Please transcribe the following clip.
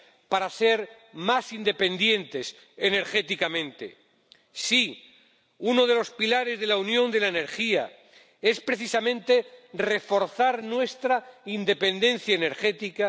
para ser más independientes energéticamente. Sí, uno de los pilares de la Unión de la Energía es precisamente reforzar nuestra independencia energética.